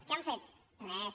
què han fet res